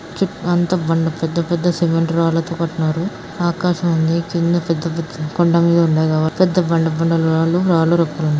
అంతా బండ పెద్ధ పెద్ధ సిమెంట్ రాళ్ళతో కట్టినారు ఆకాశం ఉంది కింద పెద్ద పెద్ద కొండ మీద ఉన్నాయి పెద్ధ బండ రాళ్ళు రాళ్ళూ రప్పలున్నాయ్.